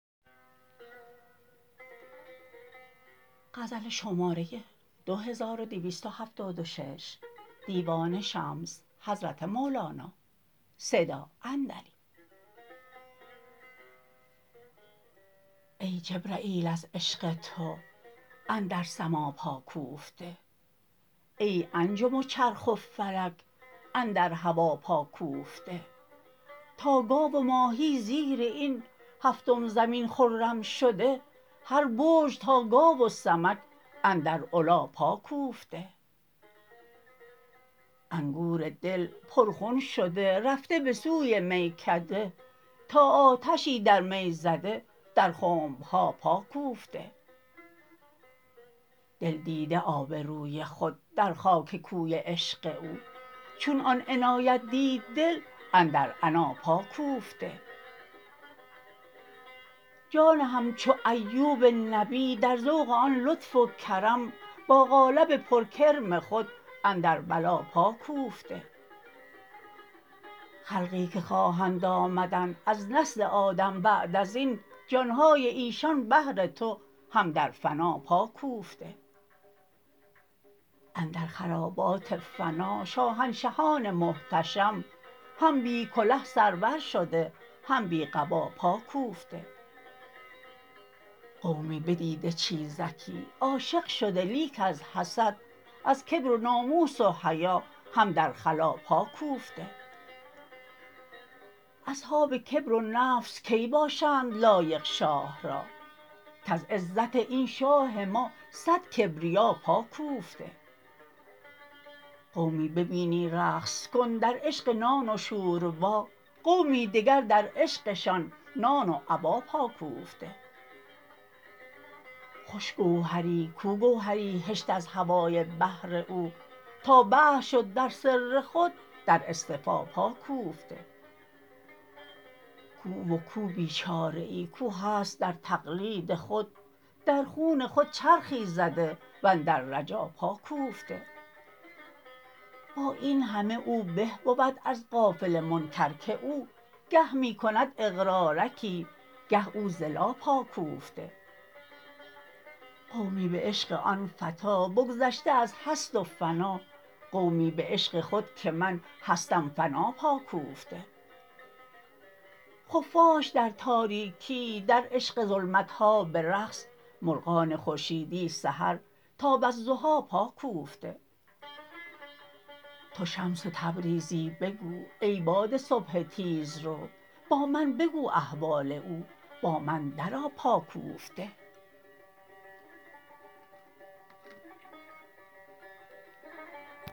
ای جبرییل از عشق تو اندر سما پا کوفته ای انجم و چرخ و فلک اندر هوا پا کوفته تا گاو و ماهی زیر این هفتم زمین خرم شده هر برج تا گاو و سمک اندر علا پا کوفته انگور دل پرخون شده رفته به سوی میکده تا آتشی در می زده در خنب ها پا کوفته دل دیده آب روی خود در خاک کوی عشق او چون آن عنایت دید دل اندر عنا پا کوفته جان همچو ایوب نبی در ذوق آن لطف و کرم با قالب پرکرم خود اندر بلا پا کوفته خلقی که خواهند آمدن از نسل آدم بعد از این جان های ایشان بهر تو هم در فنا پا کوفته اندر خرابات فنا شاهنشهان محتشم هم بی کله سرور شده هم بی قبا پا کوفته قومی بدیده چیزکی عاشق شده لیک از حسد از کبر و ناموس و حیا هم در خلاء پا کوفته اصحاب کبر و نفس کی باشند لایق شاه را کز عزت این شاه ما صد کبریا پا کوفته قومی ببینی رقص کن در عشق نان و شوربا قومی دگر در عشقشان نان و ابا پا کوفته خوش گوهری کو گوهری هشت از هوای بحر او تا بحر شد در سر خود در اصطفا پا کوفته کو او و کو بیچاره ای کو هست در تقلید خود در خون خود چرخی زده و اندر رجا پا کوفته با این همه او به بود از غافل منکر که او گه می کند اقرارکی گه او ز لا پا کوفته قومی به عشق آن فتی بگذشت از هست و فنا قومی به عشق خود که من هستم فنا پا کوفته خفاش در تاریکیی در عشق ظلمت ها به رقص مرغان خورشیدی سحر تا والضحی پا کوفته تو شمس تبریزی بگو ای باد صبح تیزرو با من بگو احوال او با من درآ پا کوفته